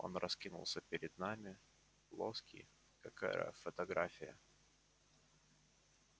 он раскинулся перед нами плоский как аэрофотография